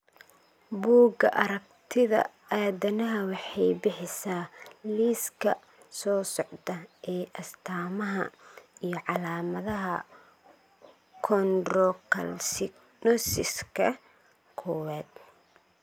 Bugaa aragtida aDdanaha waxay bixisaa liiska soo socda ee astamaha iyo calaamadaha Chondrocalcinosiska kowaad.